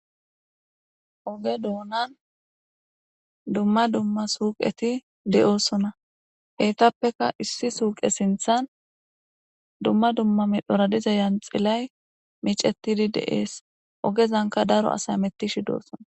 Oge duunan dumma dumma suuqeti de'osona heytappeka issi suuqe sinthan dumma dumma midhora diza yanxilay miicetidi de'es ogezanka daro asay mettishi doosona